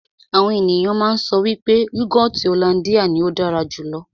Àwọn ènìyàn má ń sọ wípé yúgọọ́ti hollandia ní ó dára jù lọ.